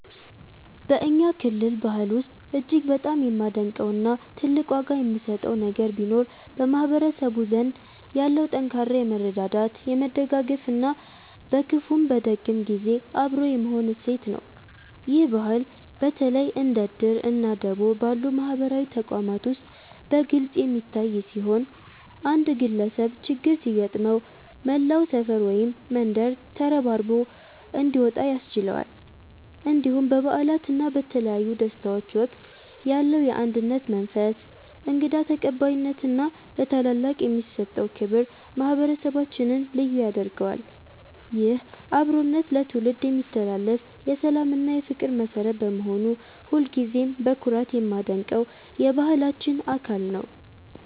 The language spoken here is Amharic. በእኛ ክልል ባህል ውስጥ እጅግ በጣም የማደንቀው እና ትልቅ ዋጋ የምሰጠው ነገር ቢኖር በማህበረሰቡ ዘንድ ያለው ጠንካራ የመረዳዳት፣ የመደጋገፍ እና በክፉም በደግም ጊዜ አብሮ የመሆን እሴት ነው። ይህ ባህል በተለይ እንደ 'እድር' እና 'ደቦ' ባሉ ማህበራዊ ተቋማት ውስጥ በግልጽ የሚታይ ሲሆን፣ አንድ ግለሰብ ችግር ሲገጥመው መላው ሰፈር ወይም መንደር ተረባርቦ እንዲወጣ ያስችለዋል። እንዲሁም በበዓላት እና በተለያዩ ደስታዎች ወቅት ያለው የአንድነት መንፈስ፣ እንግዳ ተቀባይነት እና ለታላላቅ የሚሰጠው ክብር ማህበረሰባችንን ልዩ ያደርገዋል። ይህ አብሮነት ለትውልድ የሚተላለፍ የሰላም እና የፍቅር መሠረት በመሆኑ ሁልጊዜም በኩራት የማደንቀው የባህላችን አካል ነው።